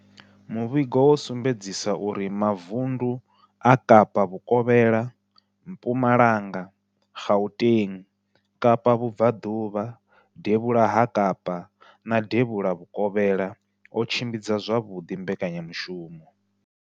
Muvhigo wo sumbedzisa uri mavundu a Kapa Vhukovhela, Mpumalanga, Gauteng, Kapa Vhubva ḓuvha, Devhula ha Kapa na Devhula Vhukovhela o tshimbidza zwavhuḓi mbekanya mushumo.